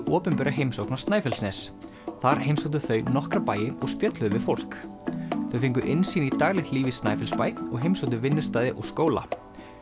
opinbera heimsókn á Snæfellsnes þar heimsóttu þau nokkra bæi og spjölluðu við fólk þau fengu innsýn í daglegt líf í Snæfellsbæ og heimsóttu vinnustaði og skóla